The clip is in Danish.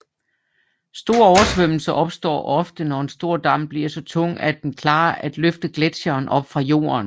Store oversvømmelser opstår ofte når en stor dam bliver så tung at den klarer at løfte gletsjeren op fra jorden